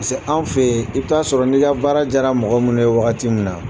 an fɛ yen i bi t'a sɔrɔ n'i ka baara jara mɔgɔ minnu ye wagati min na